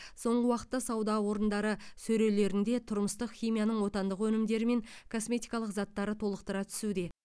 соңғы уақытта сауда орындары сөрелерінде тұрмыстық химияның отандық өнімдері мен косметикалық заттары толықтыра түсуде